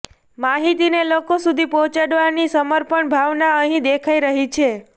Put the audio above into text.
માહિતીને લોકો સુધી પહોંચાડવાની સમર્પણની ભાવના અહીં દેખાઈ રહી છે